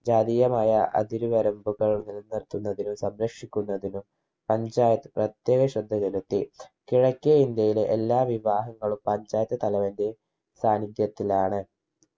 ജാതീയമായ അതിരുവരമ്പുകൾ നില നിർത്തുന്നതിനും സംരക്ഷിക്കുന്നതിനും panchayat പ്രത്യേക ശ്രദ്ധ ചെലുത്തി കിഴക്കേ ഇന്ത്യയിലെ എല്ലാ വിവാഹങ്ങളും panchayat തലവന്റെ സാന്നിധ്യത്തിലാണ്